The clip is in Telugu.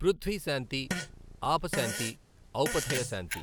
పృథ్వీ శాంతి ఆప శాంతి ఔపథయ శాంతి